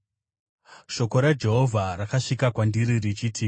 Shoko raJehovha rakasvika kwandiri richiti,